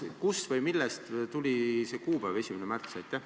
Kust või millest tuli see kuupäev 1. märts?